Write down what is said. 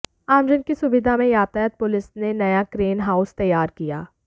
आमजन की सुविधा में यातायात पुलिस ने नया क्रेन हाउस तैयार किया